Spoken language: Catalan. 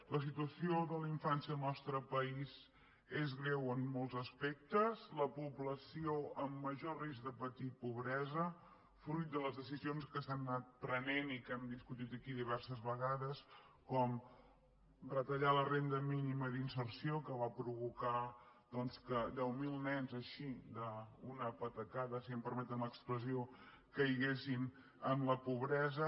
la situació de la infància al nostre país és greu en molts aspectes la població amb major risc de patir pobresa fruit de les decisions que s’han anat prenent i que hem discutit aquí diverses vegades com retallar la renda mínima d’inserció que va provocar doncs que deu mil nens així d’una patacada si em permeten l’expressió caiguessin en la pobresa